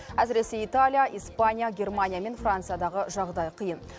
әсіресе италия испания германия мен франциядағы жағдай қиын